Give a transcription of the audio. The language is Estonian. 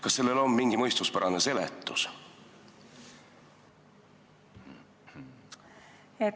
Kas sellele on mingit mõistuspärast seletust?